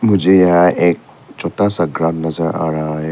मुझे यहां एक छोटा सा घर नजर आ रहा है।